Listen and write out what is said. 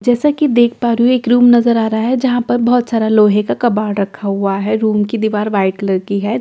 जैसा कि देख पा रही हूं एक रूम नजर आ रहा है जहां पर बहोत सारा लोहे का कबाड़ रखा हुआ है रूम की दीवार व्हाइट कलर की है।